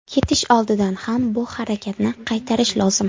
Ketish oldidan ham bu harakatni qaytarish lozim.